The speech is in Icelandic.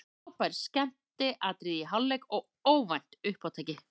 Frábær skemmtiatriði í hálfleik og óvænt uppátæki.